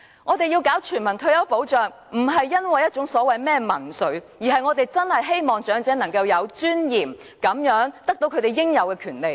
我們要實施全民退休保障，不是因為所謂的民粹主義，而是我們真的希望長者能夠活得有尊嚴，得到他們應有的權利。